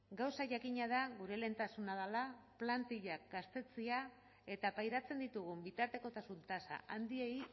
gauza jakina da gure lehentasuna dela plantillak gaztetzea eta pairatzen ditugun bitartekotasun tasa handiei